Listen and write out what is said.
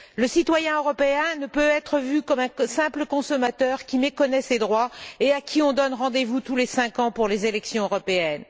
Le citoyen européen ne peut être vu comme un simple consommateur qui méconnaît ses droits et à qui on donne rendez vous tous les cinq ans pour les élections européennes.